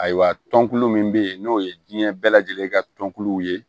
Ayiwa tɔnkulu min bɛ yen n'o ye diɲɛ bɛɛ lajɛlen ka tɔnkulu ye